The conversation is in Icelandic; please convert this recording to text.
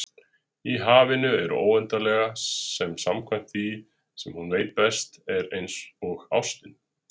Í hafinu óendanlega, sem samkvæmt því sem hún veit best, er einsog ástin.